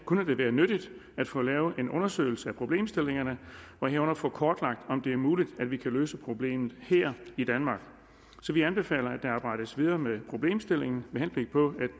kunne det være nyttigt at få lavet en undersøgelse af problemstillingerne og herunder få kortlagt om det er muligt at vi kan løse problemet her i danmark så vi anbefaler at der arbejdes videre med problemstillingen med henblik på